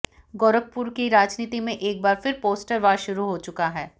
गोरखपुर की राजनीति में एक बार फिर पोस्टर वार शुरू हो चुका है